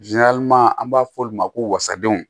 an b'a fɔ olu ma ko wasadenw